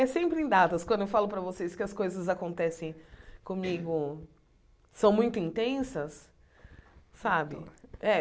É sempre em datas, quando eu falo para vocês que as coisas acontecem comigo são muito intensas, sabe? É